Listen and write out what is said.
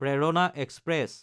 প্ৰেৰণা এক্সপ্ৰেছ